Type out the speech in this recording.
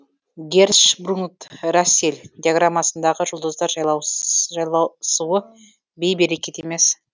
герцшпругн рассел диаграммасындағы жұлдыздар жайласуы бейберекет емес